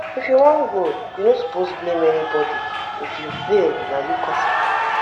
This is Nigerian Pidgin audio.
if you wan grow you no suppose blame anybody if you fail na you cos am.